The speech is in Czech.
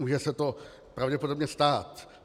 Může se to pravděpodobně stát.